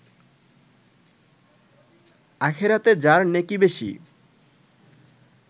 আখেরাতে যার নেকি বেশি